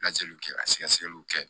Lajɛliw kɛ ka sɛgɛsɛgɛliw kɛ